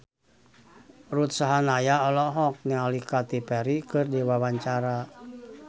Ruth Sahanaya olohok ningali Katy Perry keur diwawancara